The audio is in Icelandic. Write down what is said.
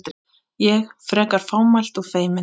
Ég, frekar fámælt og feimin.